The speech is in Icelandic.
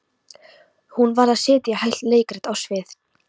Hún varð að setja heilt leikrit á svið.